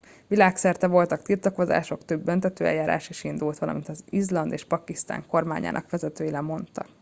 világszerte voltak tiltakozások több büntetőeljárás is indult valamint izland és pakisztán kormányának vezetői lemondtak